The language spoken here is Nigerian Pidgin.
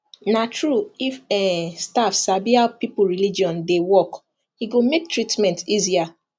na true if um staff sabi how people religion dey work e go make treatment easier